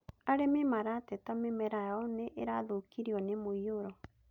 Arĩmi malateta mĩmera yao nĩ ĩrathũkirio nĩ mũiyũro